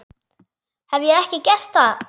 Hef ég ekki gert það?